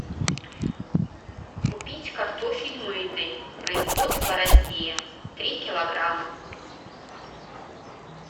купить картофель мытый производство россия три килограмма